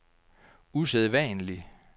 usædvanlig